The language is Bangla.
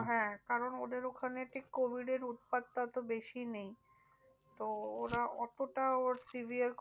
হ্যাঁ কারণ ওদের ওখানে ঠিক covid এর উৎপাতটা তো বেশি নেই। তো ওরা অতটা ওর severe